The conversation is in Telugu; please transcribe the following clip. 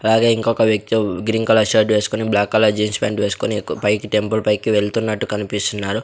అలాగే ఇంకొక వ్యక్తి గ్రీన్ కలర్ షర్ట్ వేసుకుని బ్లాక్ కలర్ జీన్స్ ప్యాంట్ వేసుకొని ఎకో పైకి టెంపుల్ పైకి వెళ్తున్నట్టు కనిపిస్తున్నారు.